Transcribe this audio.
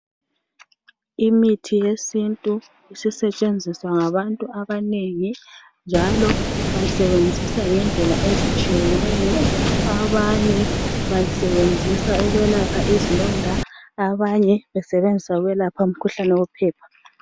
Imithi yesintu isisetshenziswa ngabantu abaningi, njalo basebenzisa ngendlela ezitshiyeneyo. Abanye basebenzisa ukwelapha izilonda, abanye umkhuhlane wophepha.